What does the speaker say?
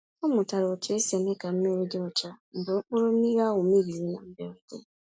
Ọ mụtara otu esi eme ka mmiri dị ọcha mgbe okpòrò mmiri ahụ mebiri na mberede.